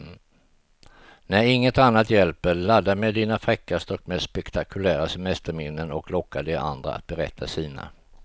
När inget annat hjälper, ladda med dina fräckaste och mest spektakulära semesterminnen och locka de andra att berätta sina.